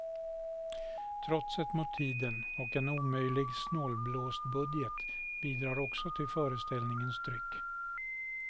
Trotset mot tiden och en omöjlig snålblåstbudget bidrar också till föreställningens tryck.